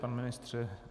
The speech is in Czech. Pane ministře?